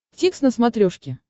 дтикс на смотрешке